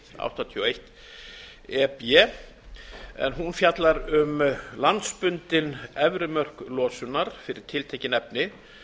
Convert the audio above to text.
áttatíu og eitt e b en hún fjallar um landsbundin efri mörk losunar fyrir tiltekin efni